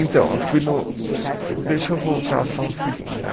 Então, eu fui no, eh deixa eu voltar só um segundo, né?